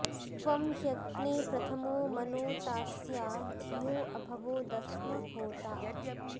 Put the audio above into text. त्वं ह्य॑ग्ने प्रथ॒मो म॒नोता॒स्या धि॒यो अभ॑वो दस्म॒ होता॑